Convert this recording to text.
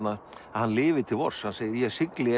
hann lifi til vors hann segir ég sigli